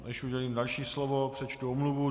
Než udělím další slovo, přečtu omluvu.